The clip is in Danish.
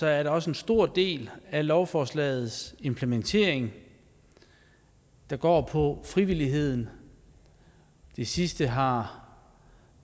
er der også en stor del af lovforslagets implementering der går på frivilligheden det sidste har